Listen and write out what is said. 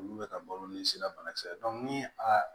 Olu bɛ ka balo ni sira banakisɛ ye ni a